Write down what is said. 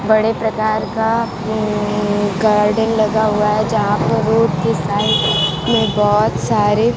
बड़े प्रकार का हं गार्डन लगा हुआ हैं जहां पे रोड के साइड में बहोत सारे--